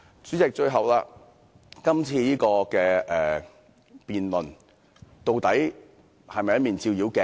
最後，主席，今次的辯論究竟是否一面"照妖鏡"？